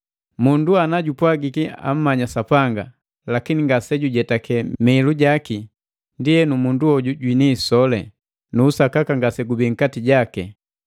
Mundu anajupwagiki ammanyi Sapanga, lakini ngasejujetaki mihilu jaki, ndienu mundu hoju jwini isoli, nu usakaka ngasegubii nkati jaki.